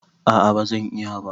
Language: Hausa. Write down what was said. A'a ba zan iya ba.